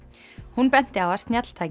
hún benti á að snjalltæki